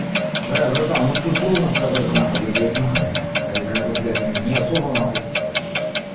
да братан ну тут трудно сказать на хуй я блять ха-ха как бы блять не особо на хуй